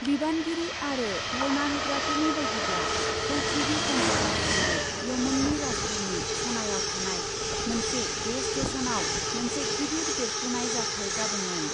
बिबानगिरि आरो धर्ना होग्राफोरनि बायदिब्ला, हौथिबि कन्ट्र'लाव थानाय यमननि राजथावनि सनायाव थानाय मोनसे गेस स्टेश'नाव मोनसे गिदिर बेरफ्रुनाय जाथाय जादोंमोन।